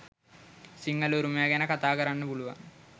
සිංහල උරුමය ගැන කතා කරන්න පුළුවන්.